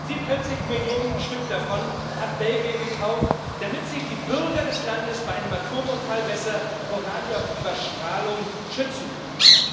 45 Millionen Stück davon hat Belgien gekauft, damit sich die Bürger des Landes bei einem Atomunfall besser vor radioaktiver Strahlung schützen können.